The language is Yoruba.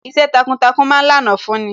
Iṣẹ́ takuntakun ma ń lànà fún ni